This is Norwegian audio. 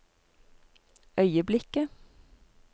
øyeblikket